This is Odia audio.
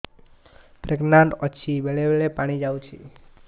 ପ୍ରେଗନାଂଟ ଅଛି ବେଳେ ବେଳେ ପାଣି ଯାଉଛି